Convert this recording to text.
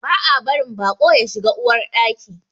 Ba a barin baƙo ya shiga Uwar Ɗaki.